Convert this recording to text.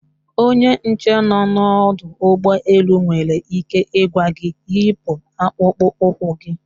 Onye nche nọ n'ọdọ ụgbọ elu nwere ike ịgwa gị yipu akpụkpụ ụkwụ gị